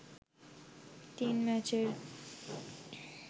তিন ম্যাচের